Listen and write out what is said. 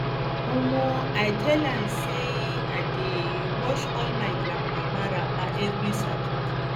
um i tell am um sey i dey um wash all my grandmama wrapper every saturday